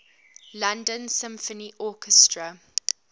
london symphony orchestra